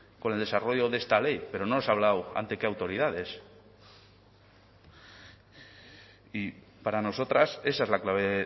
con el desarrollo de esta ley pero no nos ha hablado ante qué autoridades y para nosotras esa es la clave